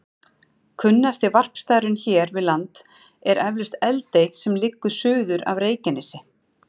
Kunnasti varpstaðurinn hér við land er eflaust Eldey sem liggur suður af Reykjanesi.